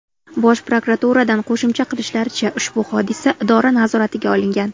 Bosh prokuraturadan qo‘shimcha qilishlaricha, ushbu hodisa idora nazoratiga olingan.